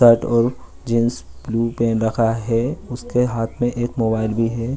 Jeans blue पहन रखा है उसके हाथ में एक मोबाइल भी है।